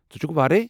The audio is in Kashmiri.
ژٕ چُھکھٕہ وارَٮے؟